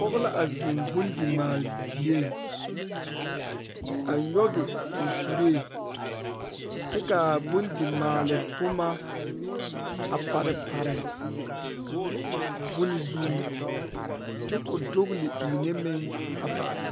Pɔgeba la bebe ka bamine taa konpitare ka bamine meŋ zeŋ ka bamine meŋ are ka bamine su kpare sɔglɔ kaa ba tabol nazu naŋ zeŋ koo e tabol pelaa.